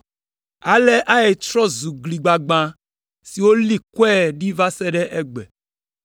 Ale Ai trɔ zu gli gbagbã siwo woli kɔe ɖi va se ɖe egbe.